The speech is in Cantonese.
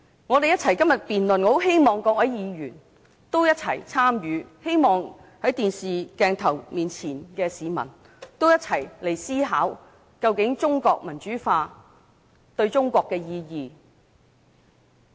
我很希望各位議員一起參與今天的辯論，亦希望電視熒幕前的市民可以一起思考，中國民主化究竟對中國有甚麼意義？